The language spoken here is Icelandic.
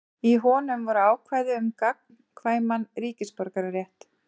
Í honum voru ákvæði um gagnkvæman ríkisborgararétt.